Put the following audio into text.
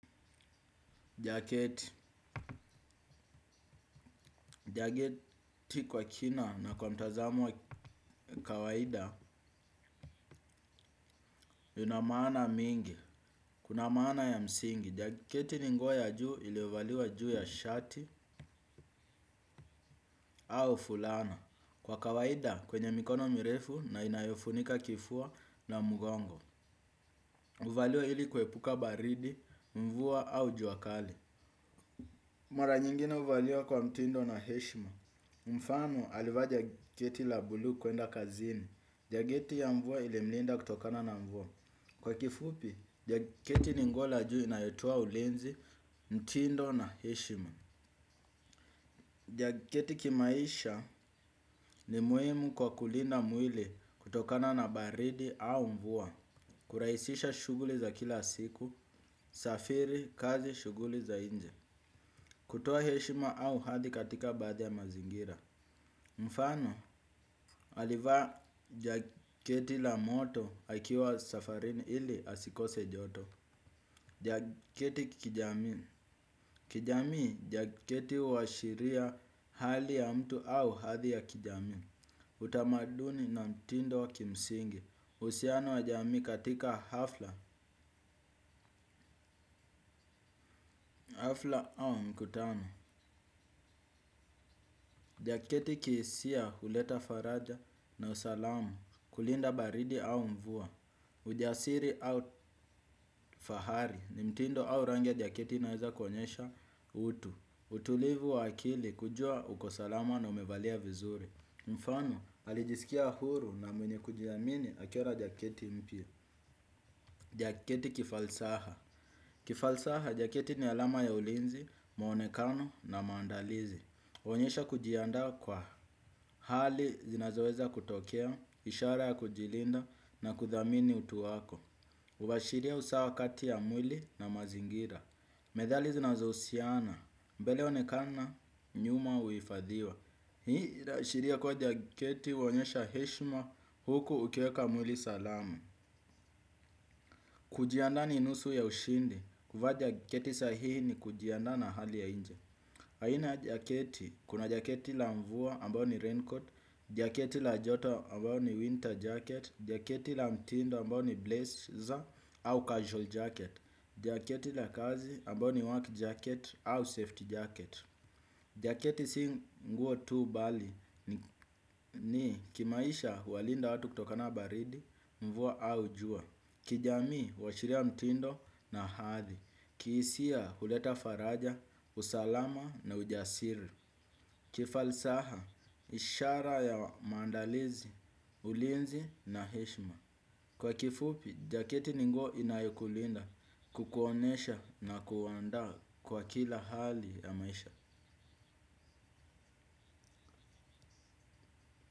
Jaketi. Jaketi kwa kina na kwa mtazamo wa kawaida ina maana mingi. Kuna maana ya msingi. Jaketi ni nguo ya juu iliovaliwa juu ya shati au fulana. Kwa kawaida kwenye mikono mirefu na inayofunika kifua na mgongo. Huvaliwa ili kuepuka baridi, mvua au jua kali. Mara nyingine huvaliwa kwa mtindo na heshima. Mfano alivaa jaketi la buluu kuenda kazini. Jaketi ya mvua ilimlinda kutokana na mvua. Kwa kifupi, jaketi ni nguo la juu inayotoa ulinzi mtindo na heshima. Jaketi kimaisha ni muhimu kwa kulinda mwili kutokana na baridi au mvua. Kurahisisha shughuli za kila siku, safiri, kazi, shughuli za nje kutoa heshima au hadhi katika baadhi ya mazingira mfano, alivaa jaketi la moto akiwa safarini ili asikose joto. Jaketi kijamii kijamii, jaketi huashiria hali ya mtu au hadhi ya kijamii. Utamaduni na mtindo wa kimsingi uhusiano wa jamii katika hafla hafla au mkutano jaketi kihisia huleta faraja na usalama. Kulinda baridi au mvua ujasiri au fahari ni mtindo au rangi ya jaketi inaeza kuonyesha utu. Utulivu wa akili kujua uko salama na umevalia vizuri. Mfano alijisikia huru na mwenye kujiamini akiwa na jaketi mpya. Jaketi kifalsaha kifalsaha jaketi ni alama ya ulinzi, muonekano na maandalizi. Huonyesha kujiandaa kwa hali zinazoweza kutokea, ishara ya kujilinda na kuthamini utu wako. Huashiria usawa kati ya mwili na mazingira. Medhali zinazohusiana. Mbele onekana nyuma huifadhiwa. Hii inaashiria kuwa jaketi huonyesha heshima huku ukieka mwili salama. Kujiandaa ni nusu ya ushindi, kuvaa jaketi sahihi ni kujiandaa na hali ya nje aina jaketi, kuna jaketi la mvua ambao ni raincoat, jaketi la joto ambao ni winter jacket, jaketi la mtindo ambao ni blazer au casual jacket jaketi la kazi ambao ni work jacket au safety jacket jaketi si nguo tu bali ni kimaisha huwalinda watu kutokana na baridi, mvua au jua. Kijamii huashiria mtindo na hadhi. Kihisia huleta faraja, usalama na ujasiri. Kifalsaha, ishara ya maandalizi, ulinzi na heshima. Kwa kifupi, jaketi ni nguo inayokulinda kukuonyesha na kuandaa kwa kila hali ya maisha.